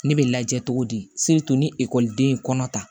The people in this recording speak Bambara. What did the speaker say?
Ne bɛ lajɛ cogo di ni ekɔliden ye kɔnɔ ta